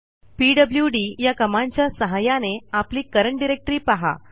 PWD या कमांडच्या सहाय्याने आपली करंट डायरेक्टरी पहा